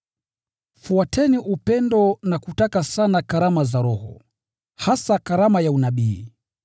Fuateni upendo na kutaka sana karama za roho, hasa karama ya unabii.